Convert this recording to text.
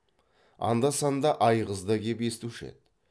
анда санда айғыз да кеп естуші еді